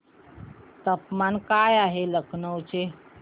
तापमान काय आहे लखनौ चे